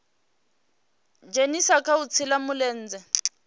dzhenisa kha u shela mulenzhe